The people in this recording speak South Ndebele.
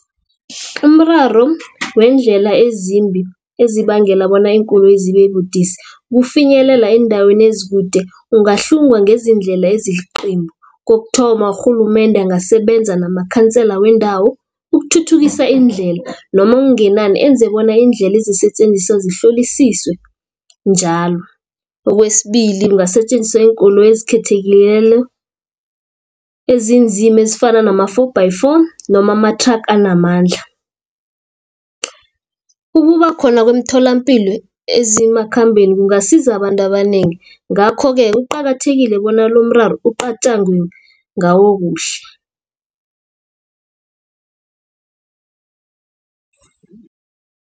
Umraro weendlela ezimbi, ezibangela bona iinkoloyi zibe budisi ukufinyelela eendaweni ezikude, ungahlungwa ngezindlela Kokuthoma urhulumende ungasebenza namakhansela wendawo ukuthuthukisa indlela, noma okungenani enze bona iindlela ezisetjenziswako zihlolisiswe njalo. Kwesibili kungasetjenziswa iinkoloyi ezikhethekileko ezinzima, ezifana nama-four-by-four, noma amathraga anamandla. Ukuba khona kwemitholapilo ezimakhambeni kungasiza abantu abanengi, ngakho-ke kuqakathekile bona lomraro kucatjangwe ngawo kuhle.